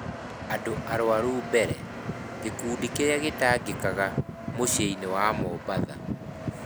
Andũ Arũaru Mbere: Gĩkundi kĩrĩa Gĩtangĩkaga mũciĩ-inĩ wa Mombasa